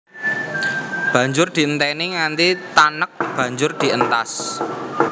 Banjur dienteni nganti tanek banjur dientas